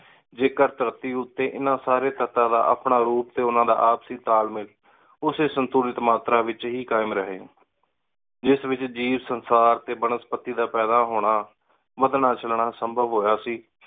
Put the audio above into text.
ਜੇ ਕਰ ਧਰਤੀ ਉਤੇ ਇੰਨਾ ਸਾਰੀ ਆਪਣਾ ਰੂਪ ਟੀ ਓਹਨਾ ਦਾ ਆਪਸੀ ਤਾਲ ਮੇਲ ਉਸੀ ਸੰਤੁਲਿਤ ਮਾਤਰਾ ਵਿਚ ਹੀ ਕਾਇਮ ਰਹੇ, ਜਿਸ ਵਿਚ ਜੀਵ, ਸੰਸਾਰ ਤੇ ਬਨਸਪਤੀ ਦਾ ਪੈਦਾ ਹੋਣਾ ਵਧਣਾ ਚਲਨਾ ਸੰਭਵ ਹੋਯਾ ਸੀ।